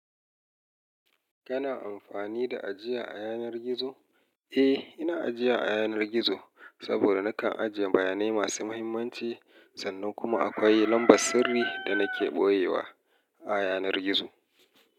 Kana amfani da ajiya a yanar gizo? Eh, ina ajiya a yanar gizo saboda nakan ajiye bayanai masu muhimmanci sannan kuma akwai lambar sirri da nake ɓoyewa a yanar gizo.